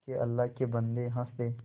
के अल्लाह के बन्दे हंस दे